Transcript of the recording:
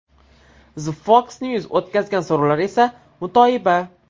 The Fox News o‘tkazgan so‘rovlar esa mutoyiba!